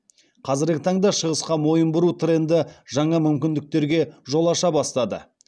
қазіргі таңда шығысқа мойын бұру тренді жаңа мүмкіндіктерге жол аша бастады